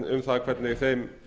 um það hvernig þeim